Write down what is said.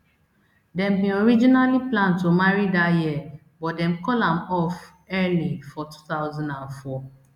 dem bin originally plan to marry dat year but dem call am off early for two thousand and four